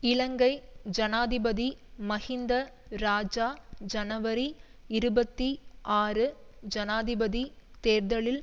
இலங்கை ஜனாதிபதி மஹிந்த இராஜா ஜனவரி இருபத்தி ஆறு ஜனாதிபதி தேர்தலில்